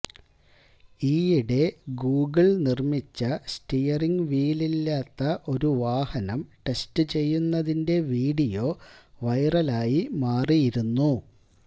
ഈയിടെ ഗൂഗിള് നിര്മിച്ച സ്റ്റീയറിങ് വീലില്ലാത്ത ഒരു വാഹനം ടെസ്റ്റ് ചെയ്യുന്നതിന്റെ വീഡിയോ വൈറലായി മാറിയിരുന്നു